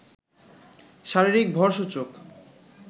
শারীরিক ভর সূচক